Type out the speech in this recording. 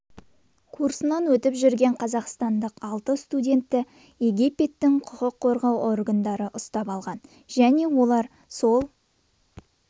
курсынан өтіп жүрген қазақстандық алты студентті египеттің құқық қорғау органдары ұстап алған және олар сол